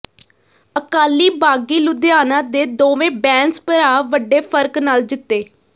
ਅਕਾਲੀ ਬਾਗੀ ਲੁਧਿਆਣਾ ਦੇ ਦੋਵੇਂ ਬੈਂਸ ਭਰਾ ਵੱਡੇ ਫ਼ਰਕ ਨਾਲ ਜਿੱਤੇ